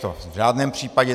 To v žádném případě.